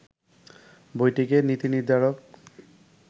বইটিকে নীতিনির্ধারক